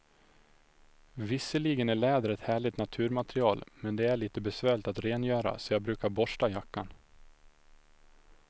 Visserligen är läder ett härligt naturmaterial, men det är lite besvärligt att rengöra, så jag brukar borsta jackan.